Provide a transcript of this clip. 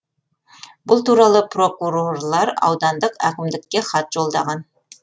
бұл туралы прокурорлар аудандық әкімдікке хат жолдаған